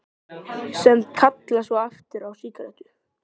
Sem kalla svo aftur á sígarettu.